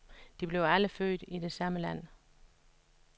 De blev alle født i det samme land.